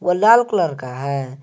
लाल colour का है।